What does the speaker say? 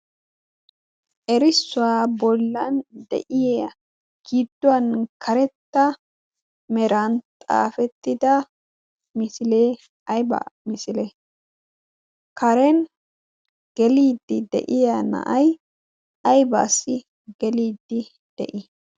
erissuwaa bollan de'iya gidduwan karetta meran xaafettida misilee aybaa misilee karen geliiddi de'iya na'ay aybaassi geliiddi de'ii